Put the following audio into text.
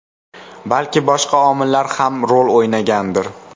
Balki boshqa omillar ham rol o‘ynagandir.